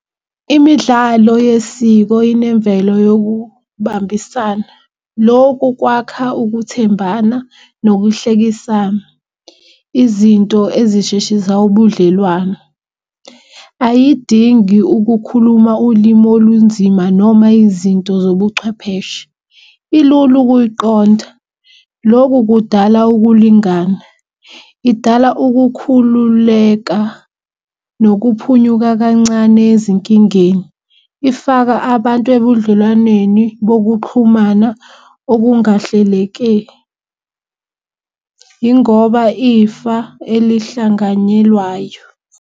Imidlalo yesiko yinemvelo yokubambisana. Loku kwakha ukuthembana nokuhlekisana. Izinto ezisheshisa ubudlelwano ayidingi ukukhuluma ulimi olunzima noma izinto zobuchwepheshe, ilula ukuyiqonda. Lokhu kudala ukulingana idala ukukhululeka nokhuphunyuka kancane ezinkingeni. Ifaka abantu ebudlelwaneni bokuxhumana yingoba ifa elihlanganyelwayo.